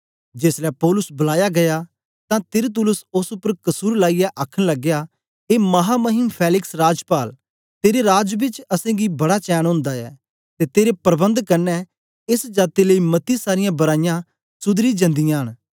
जेसलै पौलुस बलाया गीया तां तिरतुल्लुस ओस उपर कसुर लाईयै आखन लगया ए महामहिम फेलिक्स राजपाल तेरे राज बेच असेंगी बड़ा चैन ओंदा ऐ ते तेरे प्रबंध कन्ने एस जाती लेई मती सारीयां बराईयां सुधरदी जंदियां न